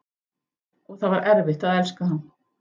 Og það var erfitt að elska hann.